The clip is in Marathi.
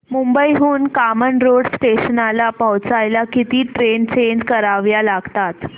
मुंबई हून कामन रोड स्टेशनला पोहचायला किती ट्रेन चेंज कराव्या लागतात